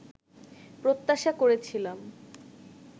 প্রত্যাশা করেছিলাম